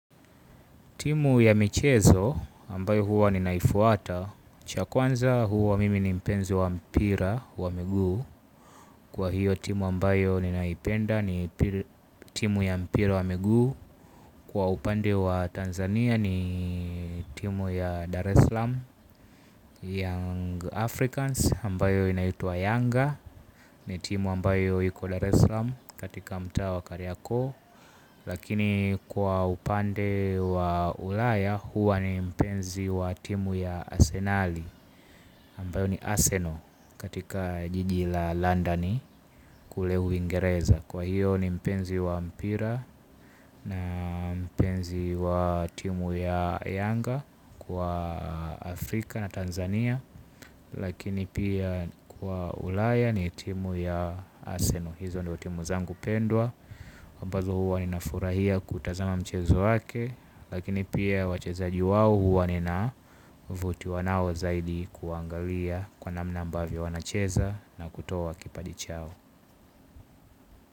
Timu ya michezo ambayo huwa ninaifuata cha kwanza, huwa mimi ni mpenzi wa mpira wa miguu. Kwa hiyo timu ambayo ninaipenda ni timu ya mpira wa miguu. Kwa upande wa Tanzania ni timu ya Dar es Salaam Young Africans ambayo inaitwa Younga. Ni timu ambayo iko Dar es salaam katika mta wa karyako. Lakini kwa upande wa Ulaya huwa ni mpenzi wa timu ya Asenali Ambayo ni Arsenal katika jiji la London kule Uingereza. Kwa hiyo ni mpenzi wa mpira. Na mpenzi wa timu ya Yanga kwa Afrika na Tanzania. Lakini pia kwa Ulaya ni timu ya Arsenal. Hizo ndizo timu zangu pendwa ambazo huwa ninafurahia kutazama mchezo wake. Lakini pia wachezaji wao huwa ninavutiwa nao zaidi kuwaangalia, kwa namna ambavyo wanacheza na kutoa kipaji chao.